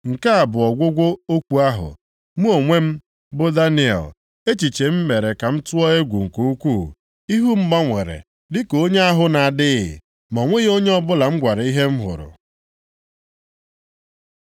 “Nke a bụ ọgwụgwụ okwu ahụ. Mụ onwe m, bụ Daniel, echiche m mere ka m tụọ egwu nke ukwu, ihu m gbanwere dịka onye ahụ na-adịghị, ma o nweghị onye ọbụla m gwara ihe m hụrụ.”